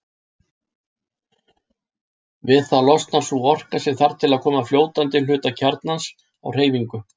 Við það losnar sú orka sem þarf til að koma fljótandi hluta kjarnans á hreyfingu.